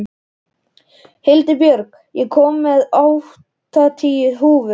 Hildibjörg, ég kom með áttatíu húfur!